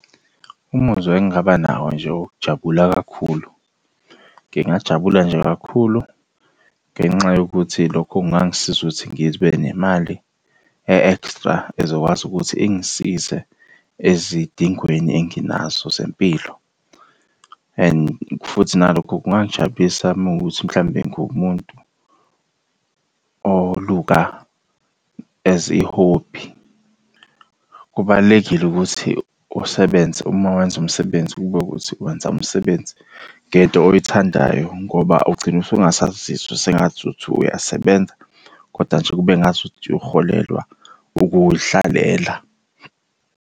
Umuzwa engingaba nawo nje owokujabula kakhulu. Ngingajabula nje kakhulu ngenxa yokuthi lokho kungangisiza ukuthi ngibe nemali e-extra ezokwazi ukuthi ingisize ezidingweni enginazo zempilo and futhi nalokho kungangijabulisa uma kuwukuthi mhlambe ngumuntu oluka as i-hobby. Kubalulekile ukuthi usebenze uma wenza umsebenzi kube ukuthi wenza umsebenzi ngento oyithandayo, ngoba ugcina usungasazizwa sengazuthi uyasebenza, koda nje kube ngazuthi uholelwa ukuy'hlalela.